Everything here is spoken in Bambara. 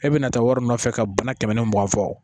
E bɛna taa wari nɔfɛ ka bana kɛmɛ ni mugan fɔ